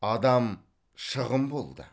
адам шығын болды